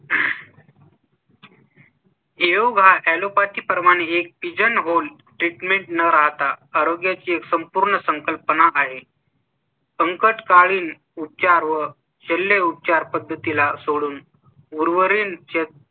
येऊ घातलेल्या पाच प्रमाणे एक Pigeon Hole Treatment न राहता आरोग्या ची संपूर्ण संकल्पना आहे . संकटकाळी उच्चार व शंभरले उपचार पद्धती ला सोडून उर्वरीत